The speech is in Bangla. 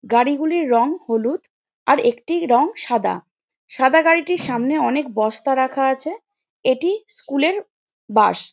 গাড়িগুলির রং হলুদ আর একটির রং সাদা সাদা গাড়িটির সামনে অনেক বস্তারাখা আছে এটি স্কুল -এর বাস ।